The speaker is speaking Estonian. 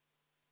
Aitäh!